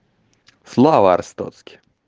слава арстоцке